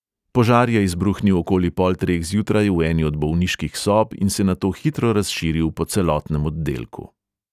Požar je izbruhnil okoli pol treh zjutraj v eni od bolniških sob in se nato hitro razširil po celotnem oddelku.